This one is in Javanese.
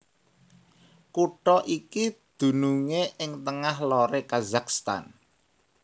Kutha iki dunungé ing tengah loré Kazakhstan